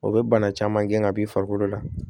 O bɛ bana caman gɛn ka b'i farikolo la